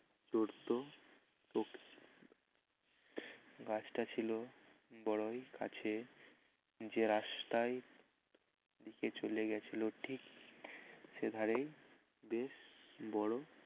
গাছ টা ছিল বড়ই কাছে যে রাস্তায় দিকে চলে গেছিল ঠিক সে ধারেই বেশ বড়